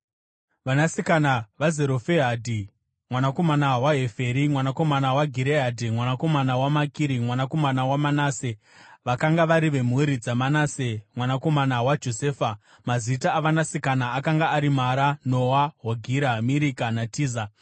Vanasikana vaZerofehadhi, mwanakomana waHeferi, mwanakomana waGireadhi, mwanakomana waMakiri, mwanakomana waManase, vakanga vari vemhuri dzaManase mwanakomana waJosefa. Mazita avanasikana akanga ari: Mara, Noa, Hogira, Mirika naTiza.